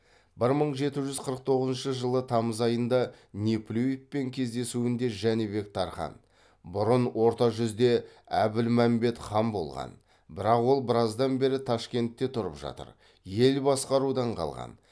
бір мың жеті жүз қырық тоғызыншы жылы тамыз айында неплюевпен кездесуінде жәнібек тархан бұрын орта жүзде әбілмәмбет хан болған бірақ ол біраздан бері ташкентте тұрып жатыр ел басқарудан қалған